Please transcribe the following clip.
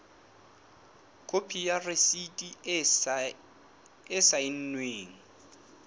khopi ya rasiti e saennweng